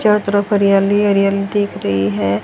चारों तरफ हरियाली ही हरियाली दिख रही है।